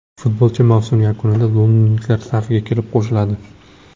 Futbolchi mavsum yakunida londonliklar safiga kelib qo‘shiladi.